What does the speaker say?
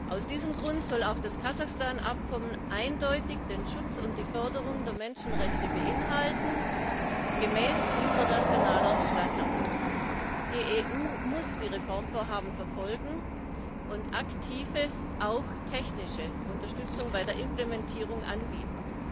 Aus diesem Grund soll auch das Kasachstan Abkommen eindeutig den Schutz und die Förderung der Menschenrechte gemäß internationalen Standards beinhalten. Die EU muss die Reformvorhaben verfolgen und aktive, auch technische Unterstützung bei der Implementierung anbieten.